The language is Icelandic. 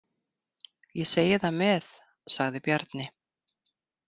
Ég segi það með, sagði Bjarni.